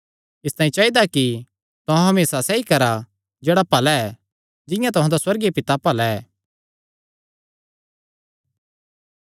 इसतांई चाइदा कि तुहां सिद्ध बणा जिंआं तुहां दा सुअर्गीय पिता सिद्ध ऐ